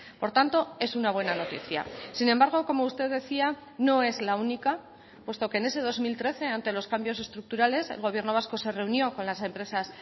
por tanto es una buena noticia sin embargo como usted decía no es la única puesto que en ese dos mil trece ante los cambios estructurales el gobierno vasco se reunió con las empresas